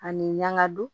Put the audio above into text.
Ani ɲanadon